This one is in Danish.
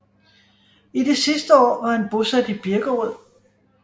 I de sidste år var han bosat i Birkerød